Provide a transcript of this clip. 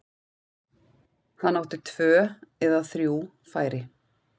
Hann átti tvö eða þrjú færi.